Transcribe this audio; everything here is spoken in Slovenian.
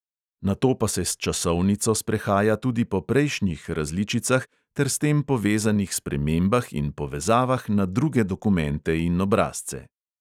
Nato pa se s časovnico sprehaja tudi po prejšnjih različicah ter s tem povezanih spremembah in povezavah na druge dokumente in obrazce.